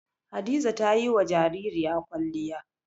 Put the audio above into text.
Hadiza ta yi wa jaririya kwalliya.